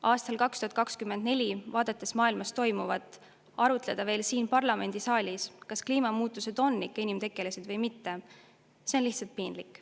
Aastal 2024, vaadates maailmas toimuvat, arutleda siin parlamendisaalis veel selle üle, kas kliimamuutused on ikka inimtekkelised või mitte, on lihtsalt piinlik.